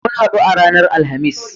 Mun haɗu a ranar Alhamis.